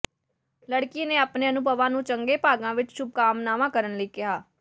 ਲੜਕੀ ਨੇ ਆਪਣੇ ਅਨੁਭਵਾਂ ਨੂੰ ਚੰਗੇ ਭਾਗਾਂ ਵਿੱਚ ਸ਼ੁਭਕਾਮਨਾਵਾਂ ਕਰਨ ਲਈ ਕਿਹਾ